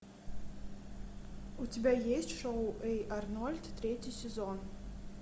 у тебя есть шоу эй арнольд третий сезон